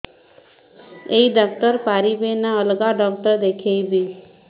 ଏଇ ଡ଼ାକ୍ତର ପାରିବେ ନା ଅଲଗା ଡ଼ାକ୍ତର ଦେଖେଇବି